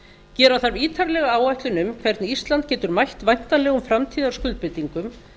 gera þarf ítarlega áætlun um hvernig ísland getur mætt væntanlegum framtíðarskuldbindingum